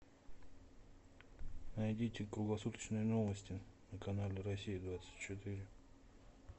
найдите круглосуточные новости на канале россия двадцать четыре